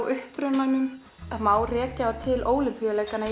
upprunann það má rekja þá til Ólympíuleikanna í